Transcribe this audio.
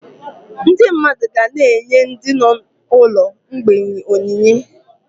Ndị mmadụ ga-na enye ndị ụlọ mgbei onyinye